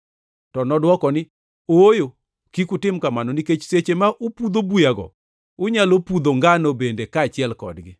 “To nodwoko ni, ‘Ooyo, kik utim kamano nikech seche ma upudho buyago unyalo pudho ngano bende kaachiel kodgi.